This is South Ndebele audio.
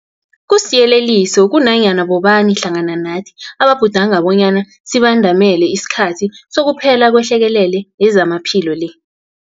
Kusiyeleliso kunanyana bobani hlangana nathi ababhudanga bonyana sibandamele isikhathi sokuphela kwehlekelele yezamaphilo le.